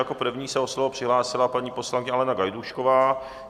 Jako první se o slovo přihlásila paní poslankyně Alena Gajdůšková.